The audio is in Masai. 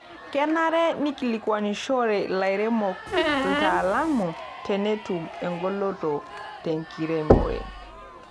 Kenare neikilikuanishore lairemok lataalamu tenetum engoloto tenkiremore.